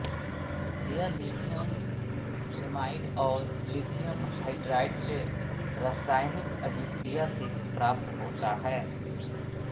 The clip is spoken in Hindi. यह लिथियम एमाइड और लिथियम हाइड्राइड से रासायनिक अभिक्रिया से प्राप्त होता है